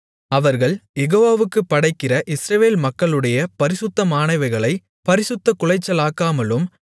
அவர்கள் யெகோவாவுக்குப் படைக்கிற இஸ்ரவேல் மக்களுடைய பரிசுத்தமானவைகளைப் பரிசுத்தக்குலைச்சலாக்காமலும்